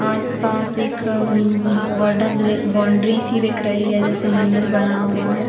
आसपास एक border boundary सी दिख रही है। जैसे मंदिर बना हुआ है।